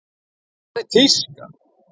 Hvað er tíska?